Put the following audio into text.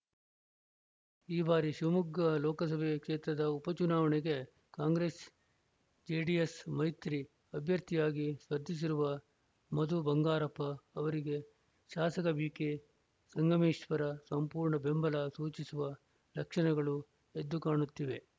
ಈ ಬಾರಿ ಶಿವಮೊಗ್ಗ ಲೋಕಸಭೆ ಕ್ಷೇತ್ರದ ಉಪಚುನಾವಣೆಗೆ ಕಾಂಗ್ರೆಸ್‌ಜೆಡಿಎಸ್‌ ಮೈತ್ರಿ ಅಭ್ಯರ್ಥಿಯಾಗಿ ಸ್ಪರ್ಧಿಸಿರುವ ಮಧು ಬಂಗಾರಪ್ಪ ಅವರಿಗೆ ಶಾಸಕ ಬಿಕೆ ಸಂಗಮೇಶ್ವರ್‌ ಸಂಪೂರ್ಣ ಬೆಂಬಲ ಸೂಚಿಸುವ ಲಕ್ಷಣಗಳು ಎದ್ದುಕಾಣುತ್ತಿವೆ